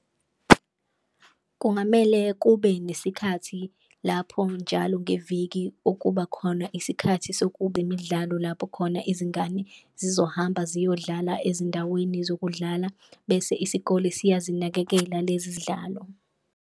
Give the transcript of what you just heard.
Kungamele kube nesikhathi lapho njalo ngeviki okuba khona isikhathi sokuba imidlalo lapho khona izingane zizohamba ziyodlala ezindaweni zokudlala, bese isikole siyazinakekela lezi zidlalo.